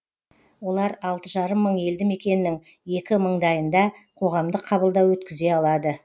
олар алты жарым мың елді мекеннің екі мыңдайында қоғамдық қабылдау өткізе алады